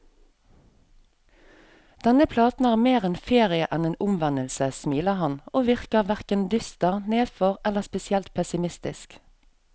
Denne platen er mer en ferie enn en omvendelse, smiler han, og virker hverken dyster, nedfor eller spesielt pessimistisk.